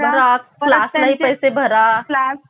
class पैसे भरा